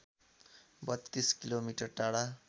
३२ किमि टाढा